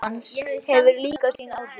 Þyngd líkamans hefur líka sín áhrif.